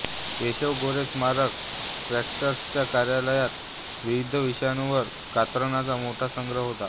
केशव गोरे स्मारक ट्रस्ट्च्या कार्यालयात विविध विषयांवरील कात्रणांचा मोठा संग्रह होता